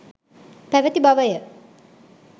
පැවැති බවය.